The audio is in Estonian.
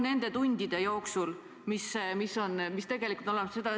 ... nende tundide jooksul, mis tegelikult on olemas.